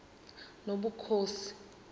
nobukhosi